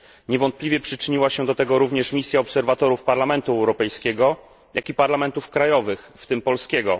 Niewątpliwie przyczyniła się do tego również misja obserwatorów Parlamentu Europejskiego, jak i parlamentów narodowych, w tym polskiego.